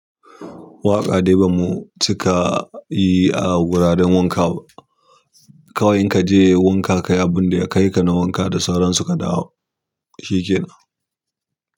Waƙa dai ba mu cika yi a wuraren wanka ba. Kawai in kaje wanka kayi abinda ya kai ka na wanka da sauran su ka dawo, shi ke nan.